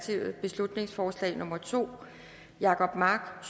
gade beslutningsforslag nummer b to jacob mark